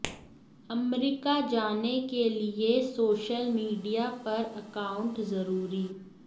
अमरीका जाने के लिए सोशल मीडिया पर अकाउंट ज़रूरी